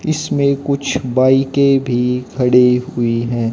इसमें कुछ बाइक के भी खड़े हुए हैं।